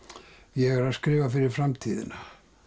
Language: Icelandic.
ég er að skrifa fyrir framtíðina